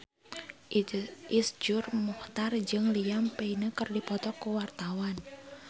Iszur Muchtar jeung Liam Payne keur dipoto ku wartawan